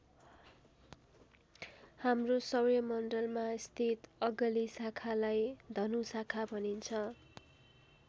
हाम्रो सौरमण्डलमा स्थित अगली शाखालाई धनु शाखा भनिन्छ।